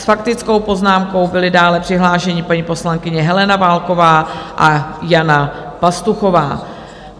S faktickou poznámkou byli dále přihlášeny paní poslankyně Helena Válková a Jana Pastuchová.